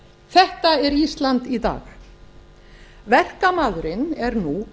þetta er ísland í dag verkamaðurinn er nú